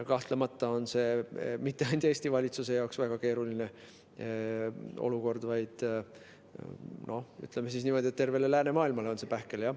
Kahtlemata ei ole see mitte ainult Eesti valitsuse jaoks väga keeruline olukord, vaid, ütleme niimoodi, tervele läänemaailmale on see pähkel, jah.